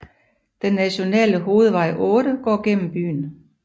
Den nationale hovedvej 8 går gennem byen